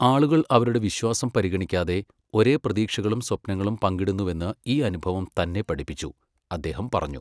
ആളുകൾ അവരുടെ വിശ്വാസം പരിഗണിക്കാതെ ഒരേ പ്രതീക്ഷകളും സ്വപ്നങ്ങളും പങ്കിടുന്നുവെന്ന് ഈ അനുഭവം തന്നെ പഠിപ്പിച്ചു, അദ്ദേഹം പറഞ്ഞു.